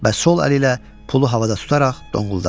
Və sol əli ilə pulu havada tutaraq donquldadı.